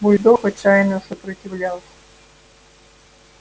бульдог отчаянно сопротивлялся